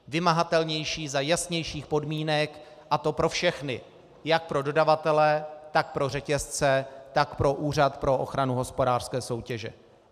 Vymahatelnější za jasnějších podmínek, a to pro všechny - jak pro dodavatele, tak pro řetězce, tak pro Úřad pro ochranu hospodářské soutěže.